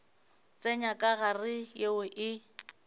tsenya ka gare yeo e